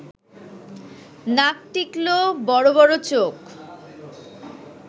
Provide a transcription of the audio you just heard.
নাক টিকলো, বড় বড় চোখ